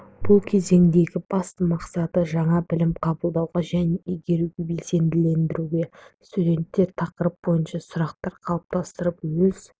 бұл кезеңдегі басты мақсаты жаңа білім қабылдауға және игеруге белсенділендіру студенттер тақырып бойынша сұрақтар қалыптастырып өз